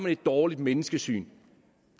et dårligt menneskesyn